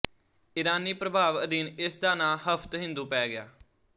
ਇਰਾਨੀ ਪ੍ਰਭਾਵ ਅਧੀਨ ਇਸ ਦਾ ਨਾਂ ਹਫਤਹਿੰਦੂ ਪੈ ਗਿਆ